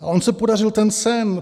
A on se podařil ten sen.